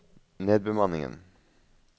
nedbemanningen